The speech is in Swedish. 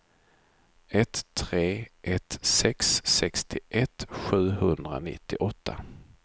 ett tre ett sex sextioett sjuhundranittioåtta